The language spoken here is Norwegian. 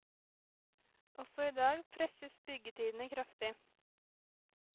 Også i dag presses byggetidene kraftig.